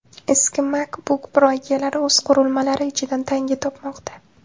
Eski MacBook Pro egalari o‘z qurilmalari ichidan tanga topmoqda .